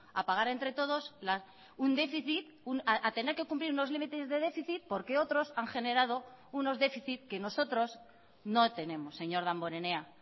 a pagar entre todos un déficit a tener que cumplir unos límites de déficit porque otros han generado unos déficit que nosotros no tenemos señor damborenea